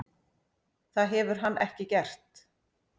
Það hefur hann ekki gert.